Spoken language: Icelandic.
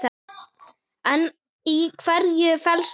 En í hverju felst það?